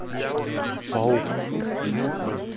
паук